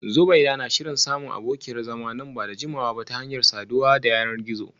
Zubeida na shirin samun abokiyar zama nan ba da jimawa ba ta hanyar saduwa ta yanar gizo